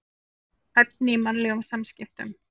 Hæfni í mannlegum samskiptum.